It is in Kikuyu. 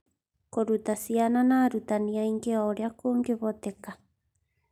Kũruta ciana na arutani aingĩ o ũrĩa kũngĩhoteka.